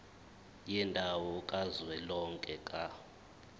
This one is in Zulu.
yendawo kazwelonke ka